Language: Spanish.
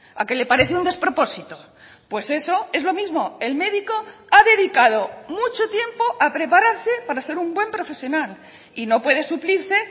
a que le parece un despropósito pues eso es lo mismo el médico ha dedicado mucho tiempo a preparase para ser un buen profesional y no puede suplirse